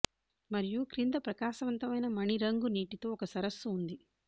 మరియు క్రింద ప్రకాశవంతమైన మణి రంగు నీటితో ఒక సరస్సు ఉంది